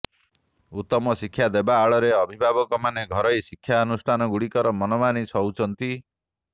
ଉତ୍ତମ ଶିକ୍ଷା ଦେବା ଆଳରେ ଅଭିଭାବକମାନେ ଘରୋଇ ଶିକ୍ଷାନୁଷ୍ଠାନଗୁଡ଼ିକର ମନମାନି ସହୁଛନ୍ତି